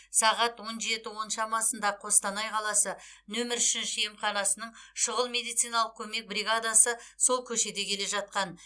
сағат он жеті он шамасында қостанай қаласы нөмір үшінші емханасының шұғыл медициналық көмек бригадасы сол көшеде келе жатқан